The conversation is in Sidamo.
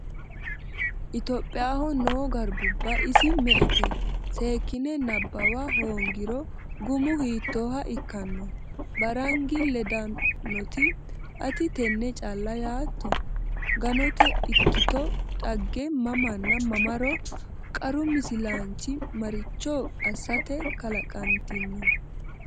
Itophiyaho noo garbuwa isi me”ete? Seekkine nabbawa hoongiro gumu hiittooha ikkanno? Baarangi ledannoti, “Ati tenne calla yaatto? Ganote ikkito Dhagge mamanna mamaro Qaru misilaanchi maricho assate kalaqantino?